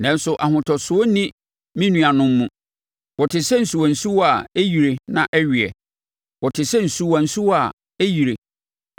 Nanso ahotosoɔ nni me nuanom mu. Wɔte sɛ nsuwa nsuwa a ɛyirie na ɛweɛ, wɔte sɛ nsuwa nsuwa a ɛyirie